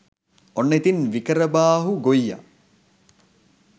ඔන්න ඉතින් විකාරබාහු ගොයියා